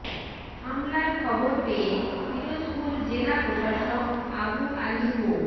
হামলার খবর পেয়ে পিরোজপুর জেলা প্রশাসক আবু আলী মো